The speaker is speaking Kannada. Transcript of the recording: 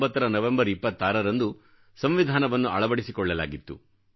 1949 ರ ನವೆಂಬರ್ 26ರಂದು ಸಂವಿಧಾನವನ್ನು ಅಳವಡಿಸಿಕೊಳ್ಳಲಾಗಿತ್ತು